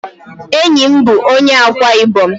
Enyi m bụ onye Ákwá-Ibom.